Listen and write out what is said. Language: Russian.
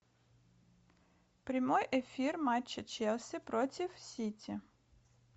прямой эфир матча челси против сити